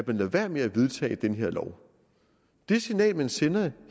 man lod være med at vedtage den her lov det signal man ville sende